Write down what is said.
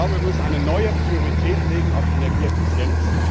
Wir müssen eine neue Priorität legen auf Energieeffizienz.